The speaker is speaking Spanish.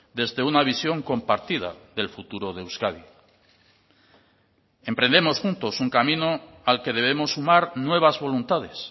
desde una visión compartida del futuro de euskadi emprendemos juntos un camino al que debemos sumar nuevas voluntades